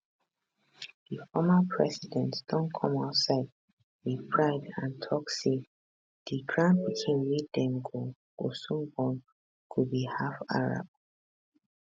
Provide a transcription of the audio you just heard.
di former president don come outside wit pride and tok say di grandpikin wey dem go go soon born go be half arab